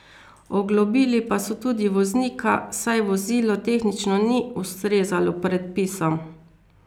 Oglobili pa so tudi voznika, saj vozilo tehnično ni ustrezalo predpisom.